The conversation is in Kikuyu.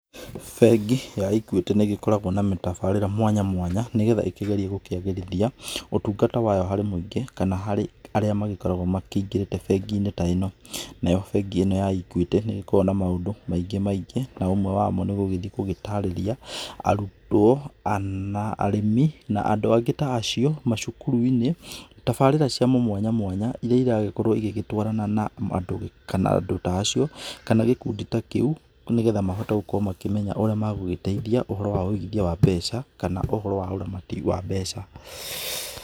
Bengi ya Equity nĩgĩkoragwo na tabarĩra mwanya mwanya, nĩgetha ĩkĩgerie gũkĩagĩrithia ũtungata wayo harĩ mũingĩ, kana harĩ arĩa makoragwo makĩingĩrĩte benginĩ ta ĩno. Nayo bengi ĩno ya Equity nĩgĩkoragwo na maũndũ maingĩ maingĩ na ũmwe wamo nĩ gũgĩthiĩ gũtarĩria arutwo na arĩmi na andũ angĩ ta acio macukuruinĩ tabarĩra ciao mwanya mwanya iria iragĩkorwo igĩtwarana na andũ ta acio kana gĩkundi ta kĩu, nĩgetha makorwo makĩmenya ũrĩa megũgĩteithia ũhoro wa wũigithia wa mbeca kana ũhoro wa ũramati wa mbeca.